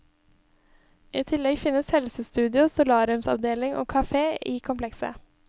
I tillegg finnes helsestudio, solariumsavdeling og kafé i komplekset.